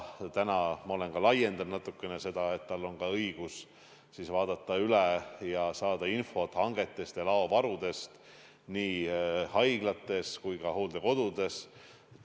Nüüdseks ma olen seda natuke laiendanud, tal on ka õigus saada infot hangetest ja laovarudest nii haiglates kui ka hooldekodudes.